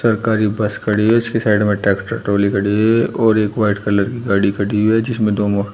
सरकारी बस खड़ी है इसकी साइड में ट्रैक्टर ट्राली खड़ी हुई है और एक व्हाइट कलर की गाड़ी खड़ी हुई है जिसमें दो--